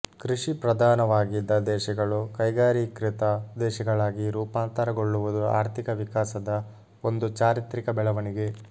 ಕೃಷಿ ಪ್ರಧಾನವಾಗಿದ್ದ ದೇಶಗಳು ಕೈಗಾರಿಕೀಕೃತ ದೇಶಗಳಾಗಿ ರೂಪಾಂತರಗೊಳ್ಳುವುದು ಆರ್ಥಿಕ ವಿಕಾಸದ ಒಂದು ಚಾರಿತ್ರಿಕ ಬೆಳವಣಿಗೆ